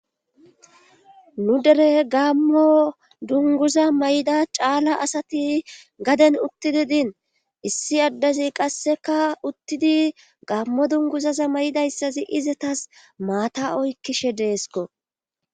Nuu dere gammo dunguza may'ida caala asati gaden uttidi diin issi addezi qasseka uttidi gammo dunguzaza mayidayssazi izetas maata oykkishe deesikko